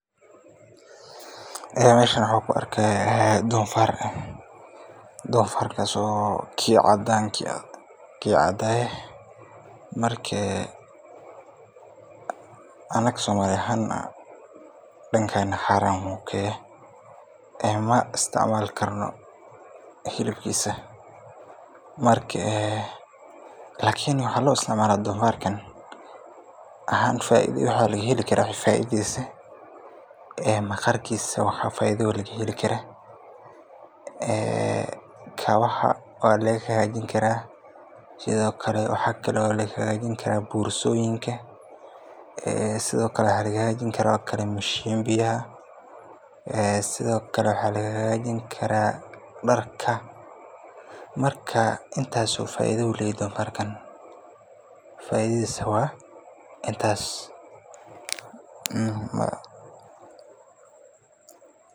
Meeshan waxan kaurka donfaar kaso ah kii cadaa anaka somali ahaan dankena xaraan ayu kayahay lamaisitcmali karo hilibkisa kalin waxa laheli kara faidadisa en kabaha aya lagahagajini kara iyo borsoyinka iyo mishimbiga iyo darka marka intaso faido eeh ayu leyahay donfarka.